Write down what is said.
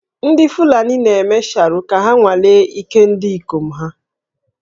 Ndị Fulani na-eme Sharo ka ha nwalee ike ndị ikom ha